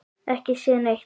Ekki séð neitt.